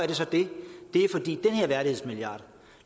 det så det det er fordi den her værdighedsmilliard